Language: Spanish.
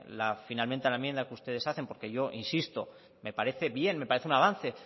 finalmente la enmienda que ustedes hacen porque yo insisto me parece bien me parece un avance